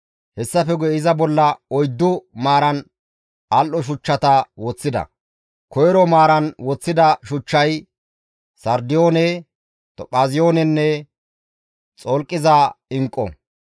Hessafe guye iza bolla oyddu maaran al7o shuchchata woththida; koyro maaraan woththida shuchchay sardiyoone, tophaaziyoonenne xolqiza inqqu;